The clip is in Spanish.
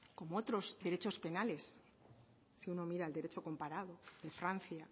como otros derechos penales si uno mira al derecho comparado de francia